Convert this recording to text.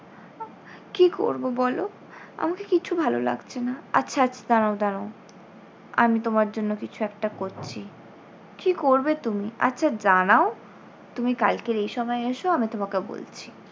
কী করবো বলো আমাকে কিছু ভালো লাগছে না। আচ্ছা আচ্ছা দাঁড়াও দাঁড়াও আমি তোমার জন্য কিছু একটা করছি। কী করবে তুমি? আচ্ছা জানাও তুমি কালকের এই সময় এসো আমি তোমাকে বলছি।